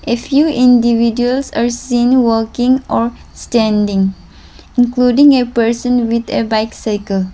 a few individuals are seen walking or standing including a person with a bike cycle .